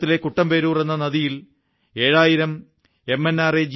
കേരളത്തിലെ കുട്ടമ്പേരൂർ എന്ന നദിയിൽ ഏഴായിരം എം